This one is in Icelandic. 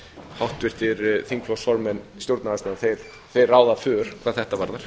háttvirtir þingflokksformenn stjórnarandstöðunnar þeir ráða för hvað þetta varðar